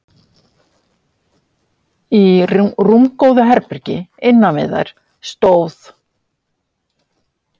Í rúmgóðu herbergi innan við þær stóð